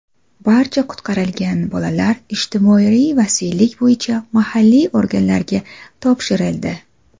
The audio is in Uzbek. Barcha qutqarilgan bolalar ijtimoiy vasiylik bo‘yicha mahalliy organlarga topshirildi.